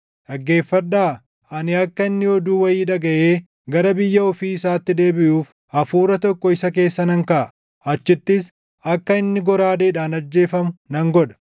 Dhaggeeffadhaa! Ani akka inni oduu wayii dhagaʼee gara biyya ofii isaatti deebiʼuuf hafuura tokko isa keessa nan kaaʼa; achittis akka inni goraadeedhaan ajjeefamu nan godha.’ ”